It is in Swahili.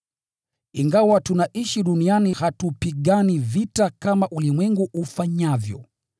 Ingawa tunaishi duniani, hatupigani vita kama ulimwengu ufanyavyo.